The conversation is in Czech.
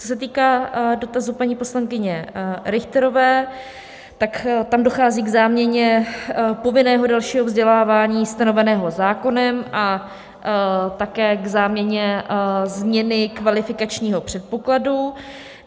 Co se týká dotazu paní poslankyně Richterové, tak tam dochází k záměně povinného dalšího vzdělávání stanoveného zákonem a také k záměně změny kvalifikačního předpokladu.